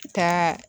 Ka